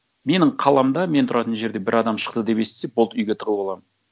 менің қаламда мен тұратын жерде бір адам шықты деп естісек болды үйге тығылып аламын